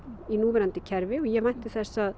í núverandi kerfi og ég vænti þess að